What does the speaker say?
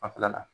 Fanfɛla la